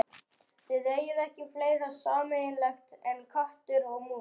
Þið eigið ekki fleira sameiginlegt en köttur og mús.